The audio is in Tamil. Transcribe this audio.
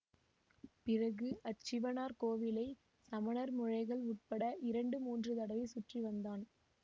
பிறகு அச்சிவனார் கோவிலை சமணர் முழைகள் உட்பட இரண்டு மூன்று தடவை சுற்றி வந்தான்